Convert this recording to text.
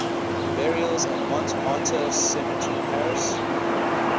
burials at montmartre cemetery paris